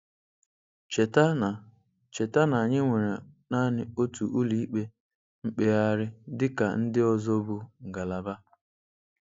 Cheta na Cheta na anyị nwere naanị otu Ụlọikpe Mkpegharị dịka ndị ọzọ bụ ngalaba.